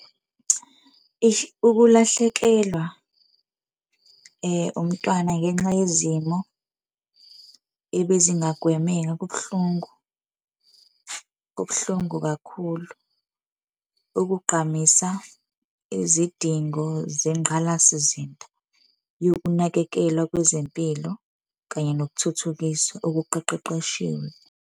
Eish, ukulahlekelwa umntwana ngenxa yezimo ebezingagwemeka kubuhlungu kubuhlungu kakhulu, ukugqamisa izidingo zengqalasizinda yokunakekelwa kwezempilo kanye nokuthuthukiswa okuqeqeqeshiwe.